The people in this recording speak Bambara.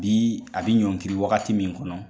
Bi a bɛ ɲɔngiri wagati min kɔnɔ